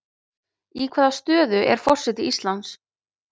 Í hvaða stöðu er forseti Íslands?